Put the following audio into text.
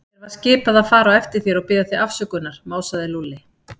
Mér var skipað að fara á eftir þér og biðja þig afsökunar másaði Lúlli.